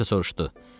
Anjelika soruşdu.